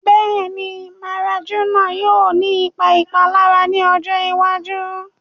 Bẹ́ẹ̀ni, marijuana yóò ní ìpà ìpàlàrà ní ọjọ́ ìwàjú